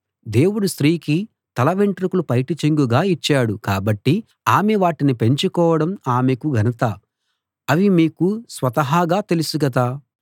దేవుడు స్త్రీకి తల వెంట్రుకలు పైటచెంగుగా ఇచ్చాడు కాబట్టి ఆమె వాటిని పెంచుకోవడం ఆమెకు ఘనత అని మీకు స్వతహాగా తెలుసు కదా